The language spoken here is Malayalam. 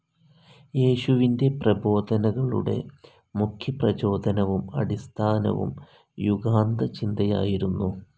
യേശുവിൻ്റെ പ്രബോധനകളുടെ മുഖ്യ പ്രചോദനവും അടിസ്ഥാനവും യുഗാന്തചിന്തയായിരുന്നു.